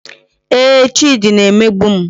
Ee, Chidi na-emegbu m